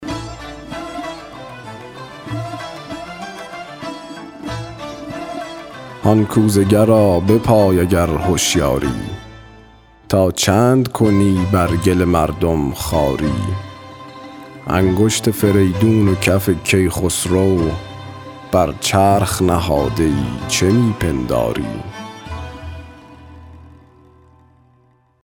هان کوزه گرا بپای اگر هشیاری تا چند کنی بر گل مردم خواری انگشت فریدون و کف کی خسرو بر چرخ نهاده ای چه می پنداری